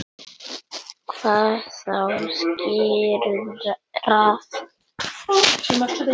Hvað þá sigrað.